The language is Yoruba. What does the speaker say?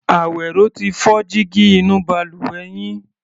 Àwẹ̀ró ti fọ́ jígí inú balùwẹ̀ yín.